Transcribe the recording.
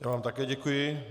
Já vám také děkuji.